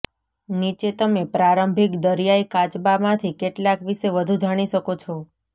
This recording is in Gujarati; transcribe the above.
નીચે તમે પ્રારંભિક દરિયાઇ કાચબામાંથી કેટલાક વિશે વધુ જાણી શકો છો